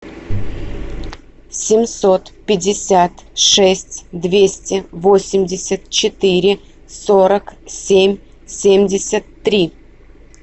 семьсот пятьдесят шесть двести восемьдесят четыре сорок семь семьдесят три